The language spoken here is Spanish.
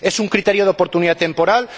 ¿Es un criterio de oportunidad temporal?